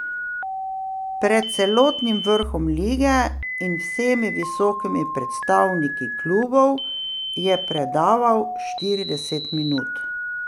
Pred celotnim vrhom lige in vsemi visokimi predstavniki klubov je predaval štirideset minut.